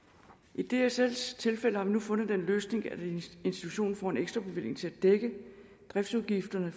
i dsls tilfælde har vi nu fundet den løsning at institutionen får en ekstrabevilling til at dække driftsudgifterne